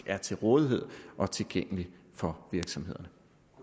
er til rådighed og tilgængelig for virksomhederne